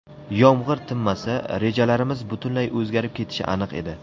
Yomg‘ir tinmasa, rejalarimiz butunlay o‘zgarib ketishi aniq edi.